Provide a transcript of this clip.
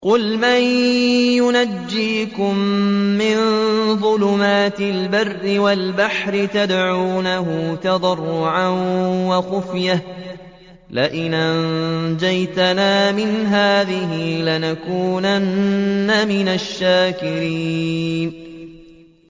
قُلْ مَن يُنَجِّيكُم مِّن ظُلُمَاتِ الْبَرِّ وَالْبَحْرِ تَدْعُونَهُ تَضَرُّعًا وَخُفْيَةً لَّئِنْ أَنجَانَا مِنْ هَٰذِهِ لَنَكُونَنَّ مِنَ الشَّاكِرِينَ